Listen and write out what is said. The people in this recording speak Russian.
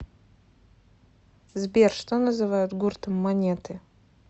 сбер что называют гуртом монеты